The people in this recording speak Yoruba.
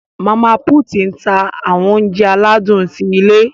Mama put n tá awọn ounjẹ aladun ti ilé.